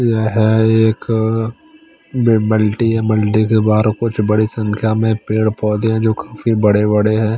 ये हे एक बी बल्टी बल्टी के बाहर कुछ बड़ी संखिया में पेड़ पोधे है जो काफी बड़े बड़े है।